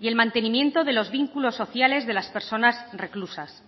y el mantenimiento de los vínculos sociales de las personas reclusas